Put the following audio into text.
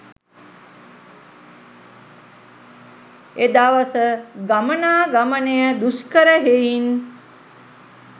එදවස ගමනා ගමනය දුෂ්කර හෙයින්